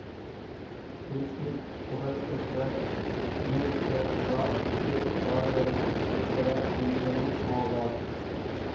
will Smith புகழ்பெற்ற அமெரிக்க rap இசை பாடகரும் திரைப்பட நடிகரும் ஆவார்